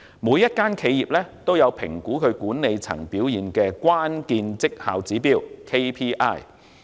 每間企業均有評估其管理層表現的關鍵績效指標。